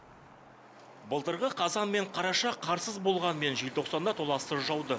былтырғы қазан мен қараша қарсыз болғанымен желтоқсанда толассыз жауды